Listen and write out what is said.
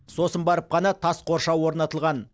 сосын барып қана тас қоршау орнатылған